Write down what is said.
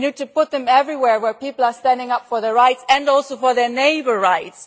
We need to put them everywhere where people are standing up for their rights and also for their neighbour's rights.